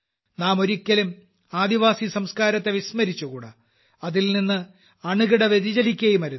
നാം ഒരിക്കലും ആദിവാസി സംസ്ക്കാരത്തെ വിസ്മരിച്ചുകൂടാ അതിൽനിന്ന് അണുകിട വ്യതിചലിക്കുകയുമരുത്